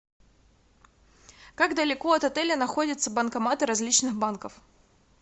как далеко от отеля находятся банкоматы различных банков